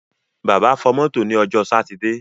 Bàbá fọ mọ́tò ní ọjọ́ sátidé.